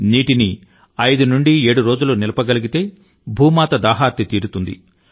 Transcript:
నీటిని ఐదు నుండి ఏడు రోజులు నిలపగలిగితే భూమాత దాహార్తి తీరుతుంది